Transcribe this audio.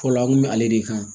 Fɔlɔ an kun bɛ ale le kan